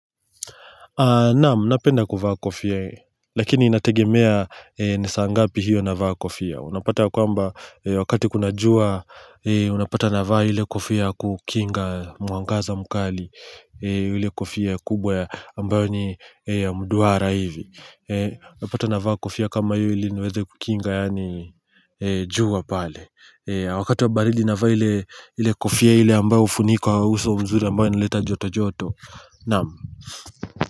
Naam, napenda kuvaa kofia, lakini inategemea ni saa ngapi hiyo navaa kofia. Unapata ya kwamba wakati kuna jua, unapata navaa ile kofia ya kukinga mwangaza mkali. Ile kofia kubwa ambayo ni mduara hivi. Unapata navaa kofia kama hiyo ili niweze kukinga yaani jua pale. Wakati wa baridi navaa ile, ile kofia ile ambayo hufunika uso mzuri ambayo nileta joto joto. Naam.